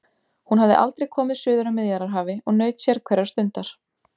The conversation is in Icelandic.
Hún hafði aldrei komið suður að Miðjarðarhafi og naut sérhverrar stundar.